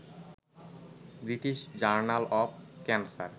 British Journal of cancer